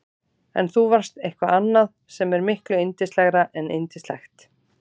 En þú varst eitthvað annað sem er miklu yndislegra en yndislegt.